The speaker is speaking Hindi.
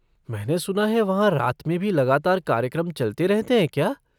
मैंने सुना है वहाँ रात में भी लगातार कार्यक्रम चलते रहते हैं क्या?